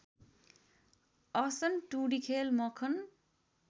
असन टुँडिखेल मखन